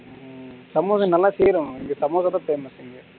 சமோசா நல்லா செய்யணும் இங்க சமோசா செய்யமாட்டாங்க